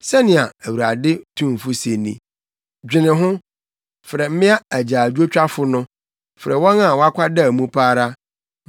Sɛnea Awurade tumfo se ni: “Dwene ho! Frɛ mmea agyaadwotwafo no, frɛ wɔn a wɔakwadaw mu pa ara.